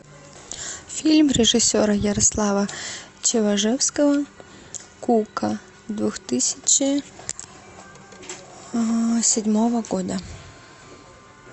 фильм режиссера ярослава чеважевского кука две тысячи седьмого года